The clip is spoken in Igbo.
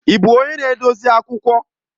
Ị bụ onye na-edozi akwụkwọ?